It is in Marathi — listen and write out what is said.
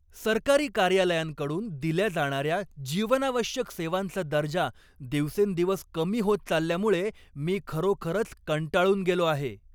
सरकारी कार्यालयांकडून दिल्या जाणाऱ्या जीवनावश्यक सेवांचा दर्जा दिवसेंदिवस कमी होत चालल्यामुळे मी खरोखरच कंटाळून गेलो आहे.